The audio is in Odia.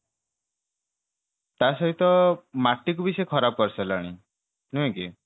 ତା ସହିତ ମାଟିକୁ ବି ସେ ଖରାପ କରିସାରିଲାଣି ନୁହେଁ କି